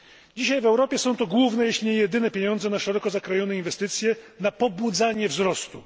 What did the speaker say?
Dzisiaj w Europie są to główne, jeśli nie jedyne pieniądze na szeroko zakrojone inwestycje, na pobudzanie wzrostu.